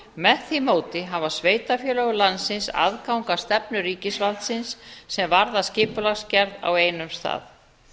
með því móti hafa sveitarfélög landsins aðgang að stefnu ríkisvaldsins sem varða skipulagsgerð á einum stað